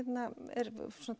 er